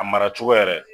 A mara cogo yɛrɛ